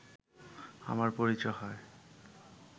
আমার পরিচয় হয়